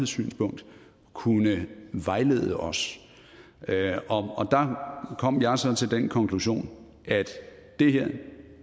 synspunkt kunne vejlede os og der kom jeg så til den konklusion at